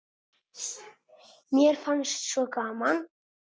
Mér fannst svo gaman!